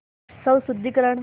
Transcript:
स्वशुद्धिकरण